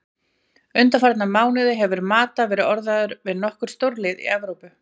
Undanfarna mánuði hefur Mata verið orðaður við nokkur stórlið í Evrópu.